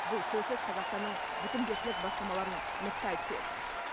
бұл сөзсіз қазақстанның бітімгершілік бастамаларын нықтай түседі